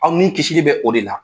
Aw ni kisili bɛ o de la.